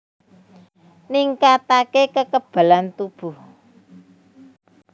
Ningkatake kekebalan tubuh